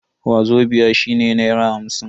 Wazobia shine naira hamsin.